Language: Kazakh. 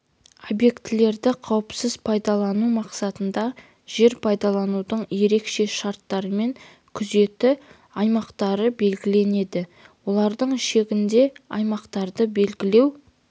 объектілерді қауіпсіз пайдалану мақсатында жер пайдаланудың ерекше шарттарымен күзеті аймақтары белгіленеді олардың шегінде аймақтарды белгілеу